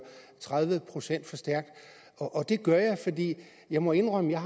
tredive procent for stærkt og det gør jeg fordi jeg må indrømme at jeg